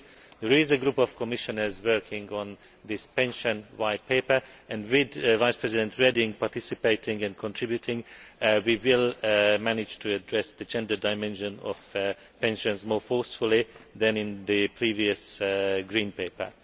There is a group of Commissioners working on this Pensions White Paper, and with Vice President Reding participating and contributing, we will manage to address the gender dimension of pensions more forcefully than in the previous Green Paper.